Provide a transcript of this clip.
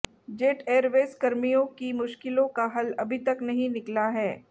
jet Airways कर्मियों की मुश्किलों का हल अभी तक नहीं निकला है